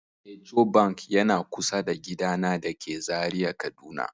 Ecobank yana kusa da gidana dake Zaria, kaduna